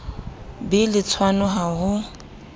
be le tshwano ha ho